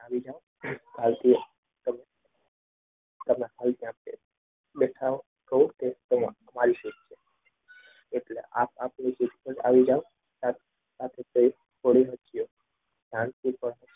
આવી જાઓ કાલથી તમને